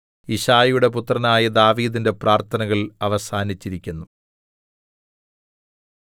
യിശ്ശായിയുടെ പുത്രനായ ദാവീദിന്റെ പ്രാർത്ഥനകൾ അവസാനിച്ചിരിക്കുന്നു